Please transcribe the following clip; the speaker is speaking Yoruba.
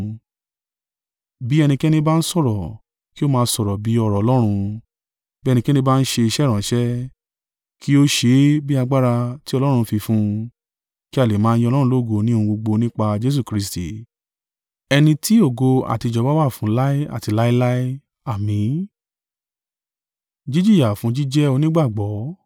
Bí ẹnikẹ́ni ba ń sọ̀rọ̀, kí o máa sọ bí ọ̀rọ̀ Ọlọ́run, bí ẹnikẹ́ni bá ń ṣe iṣẹ́ ìránṣẹ́, kí ó ṣe é bí agbára tí Ọlọ́run fi fún un, kí a lè máa yin Ọlọ́run lógo ní ohun gbogbo nípa Jesu Kristi, ẹni tí ògo àti ìjọba wà fún láé àti láéláé. Àmín.